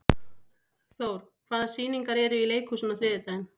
Thór, hvaða sýningar eru í leikhúsinu á þriðjudaginn?